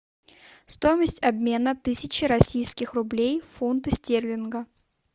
стоимость обмена тысячи российских рублей в фунты стерлинга